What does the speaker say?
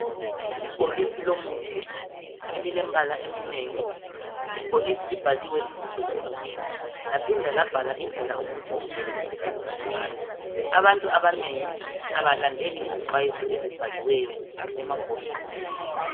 Ibhokisi lomuthi elilembala eminengi. Ibhokisi libhaliwe ibizo lomuthi laphinda labhalwa indlela umuthi okumele usetshenziswe ngayo. Abantu abanengi abalandeli izixwayiso ezibhaliweyo emabhokisini.